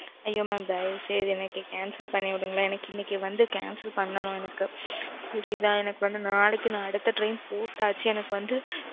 ஐயோ mam தயவு செஞ்சு எனக்கு cancel பண்ணி விடுங்களேன் எனக்கு இன்னைக்கு வந்து cancel பண்ணனும் எனக்கு. புரிதா எனக்கு வந்து நாளைக்கு நான் அடுத்த train போட்டாச்சு எனக்கு வந்து